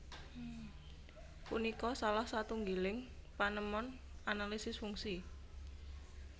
Punika salah satunggiling panemon analisis fungsi